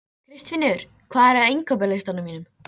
Kristfinnur, hvað er á innkaupalistanum mínum?